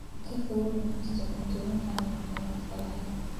Ka fogow cunista cuntooyinka aan caafimaadka lahayn.